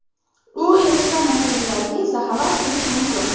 U erishgan natijalarga esa faqat havas qilish mumkin.